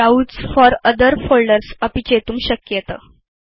browse for other folders अपि चेतुं शक्येत